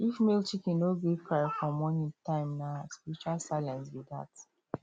if male chicken no gree cry for morning time nah spiritual silence be dat